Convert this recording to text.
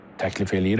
Təklif eləyirəm.